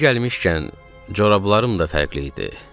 Yer gəlmişkən, corablarım da fərqli idi.